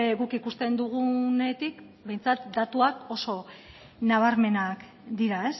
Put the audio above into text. guk ikusten dugunetik behintzat datuak oso nabarmenak dira